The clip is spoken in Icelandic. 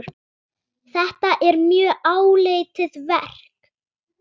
Þetta er mjög áleitið verk.